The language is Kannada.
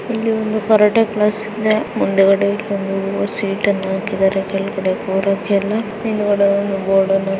ಇಲ್ಲಿ ಒಂದು ಕರಾಟೆ ಕ್ಲಾಸ್ ಇದೆ .ಮುಂದುಗಡೆ ಒಂದು ಸೀಟ್ ಹಾಕಿದ್ದಾರೆ ಕೂರೋಕೆ ಎಲ್ಲ ಹಿಂದ್ಗಡೆ ಒಂದು ಬೋರ್ಡ್ ಅನ್ನು ಹಾಕಿದ್ದಾರೆ .